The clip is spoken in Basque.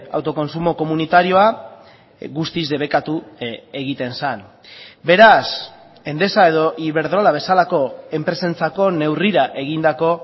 autokontsumo komunitarioa guztiz debekatu egiten zen beraz endesa edo iberdrola bezalako enpresentzako neurrira egindako